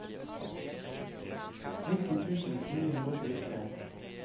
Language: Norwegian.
nitti tusen ni hundre og tjuetre